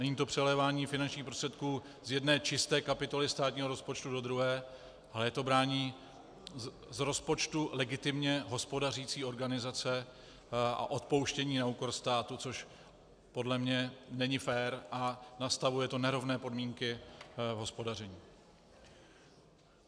Není to přelévání finančních prostředků z jedné čisté kapitoly státního rozpočtu do druhé, ale je to braní z rozpočtu legitimně hospodařící organizace a odpouštění na úkor státu, což podle mě není fér a nastavuje to nerovné podmínky v hospodaření.